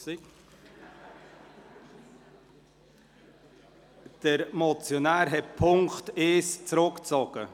() Der Motionär hat den Punkt 1 zurückgezogen.